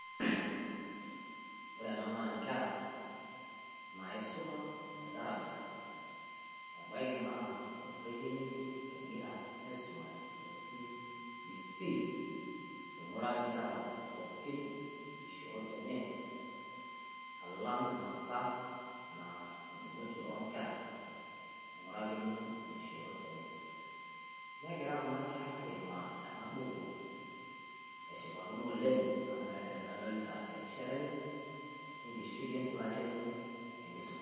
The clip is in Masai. Ore ena naa nkera naisuma te darasa. ebaiki naa orrekie ng'ejuk egira aisumare le C.B.C. Oing'uraki nkera nkishoorot enye alang enapa naa edung'oti oo nkera ing'urakini nkishoorot enye. Negira Kuna kera aimaa Ena buku eshupakino oleng amu meeta enemedolita erishata enye e nkishui e n'duata enye the nkisuma.